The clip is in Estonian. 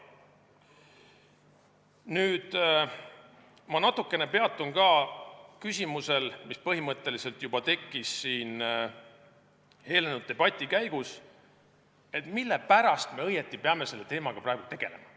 Nüüd ma peatun natuke ka küsimusel, mis põhimõtteliselt tekkis juba eelnenud debati käigus, mille pärast me õieti peame selle teemaga praegu tegelema.